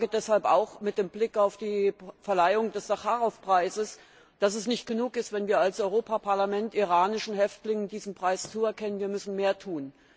Und ich sage deshalb auch mit Blick auf die Verleihung des Sacharow Preises, dass es nicht genug ist, wenn wir als Europäisches Parlament iranischen Häftlingen diesen Preis zuerkennen wir müssen mehr tun.